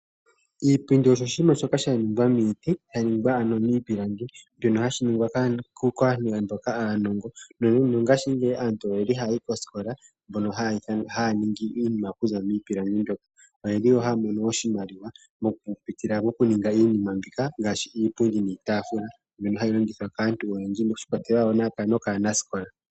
Iipundi osho oshinima shoka sha ningwa miiti, sha ningwa ano miipilangi mbyono hayi ningwa kaantu mboka aanongo. Nongashingeyi aantu oye li haya yi koosikola mbono haya ningi iinima okuza miipilangi mbyoka. Oye li wo haya mono oshimaliwa mokupitila mokuninga iinima mbika ngaashi iipundi niitaafula mbyono hayi landithwa kaantu oyendji shi ikwatelela wo nokaanasikola.